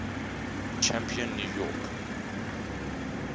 champion new york